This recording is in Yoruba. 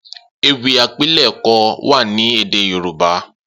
Ewì àpilẹ̀kọ wà ni édé yorùbá